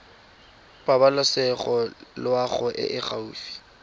pabalesego loago e e gaufi